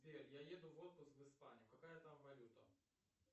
сбер я еду в отпуск в испанию какая там валюта